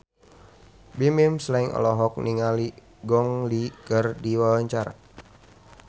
Bimbim Slank olohok ningali Gong Li keur diwawancara